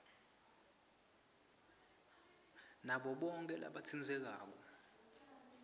nabo bonkhe labatsintsekako